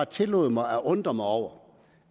tillod mig at undre mig over